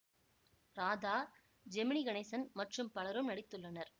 ராதா ஜெமினி கணேசன் மற்றும் பலரும் நடித்துள்ளனர்